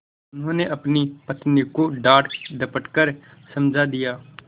उन्होंने अपनी पत्नी को डाँटडपट कर समझा दिया